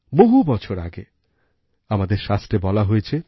বহু বছর আগে আমাদের শাস্ত্রে বলা হয়েছে